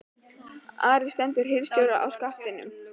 ARI STENDUR HIRÐSTJÓRA SKIL Á SKATTINUM